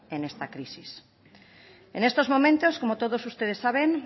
en esta crisis en estos momentos como todos ustedes saben